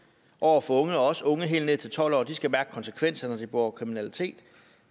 over for unge også unge helt ned til tolv år de skal mærke konsekvens når de begår kriminalitet